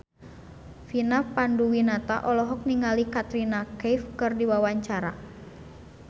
Vina Panduwinata olohok ningali Katrina Kaif keur diwawancara